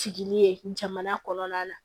Jigini ye jamana kɔnɔna na